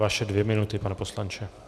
Vaše dvě minuty, pane poslanče.